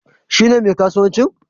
Shi ne mai kasuwancin?